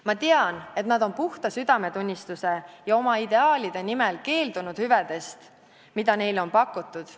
Ma tean, et nad on puhta südametunnistuse ja oma ideaalide nimel keeldunud hüvedest, mida neile on pakutud.